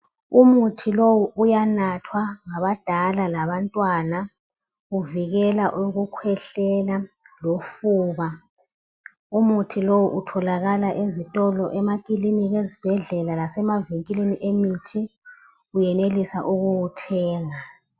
Umuthi lowu uyanathwa ngabadala labantwana uvikela ukukhwehlela lofuba umuthi lowo utholakala ezitolo emakilinika ezibhedlela lasemavinkilini emithi uyenelisa ukuwuthenga